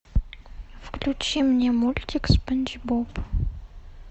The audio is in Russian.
включи мне мультик спанч боб